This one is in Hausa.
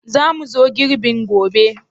Za mu zo girbin gobe?